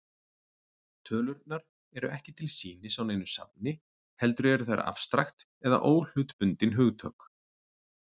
Tölurnar eru ekki til sýnis á neinu safni, heldur eru þær afstrakt eða óhlutbundin hugtök.